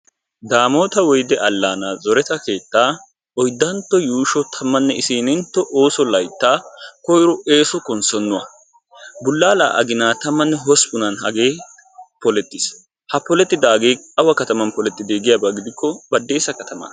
Damotta woydde alaana zoretta keetta oyddantto yuushsho konssonuwaa. Bulaalla aginaa tamenne hosppunna hagee polettissay baddessa katama.